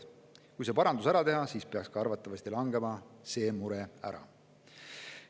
Kui see parandus ära teha, siis peaks arvatavasti ka see mure ära langema.